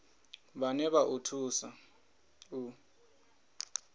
vhane vha o thusa u